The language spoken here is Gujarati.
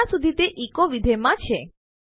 જ્યાં સુધી તે એચો વિધેય માં છે